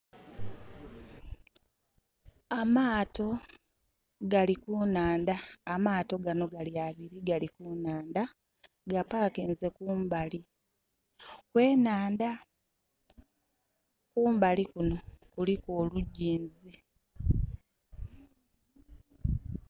Amaato gali ku nhandha. Amaato ghano gali abiri gali ku nhandha. Ga pakinze kumbali kw'enhandha. Kumbali kuno kuliku olugyinzi.